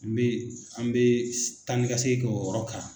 N bɛ an bɛ taanikasegin kɛ o yɔrɔ kan.